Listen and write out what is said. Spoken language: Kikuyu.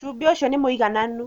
Cumbĩ ũcio nĩmwĩganu